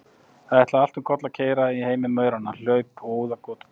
Það ætlaði allt um koll að keyra í heimi mauranna, hlaup og óðagot og pat.